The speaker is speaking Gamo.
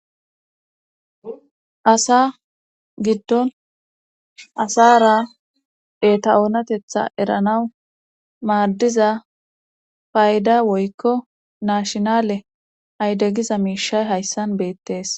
Asa giddon asara eta7oonatetha eranaw maaddiza payda woykko naashinale aydegiza miishay hayssan beettees